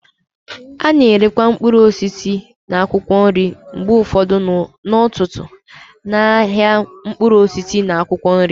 A na-erekwa mkpụrụ osisi na akwụkwọ nri mgbe ụfọdụ n'ọtụtụ n'ahịa mkpụrụ osisi na akwụkwọ nri.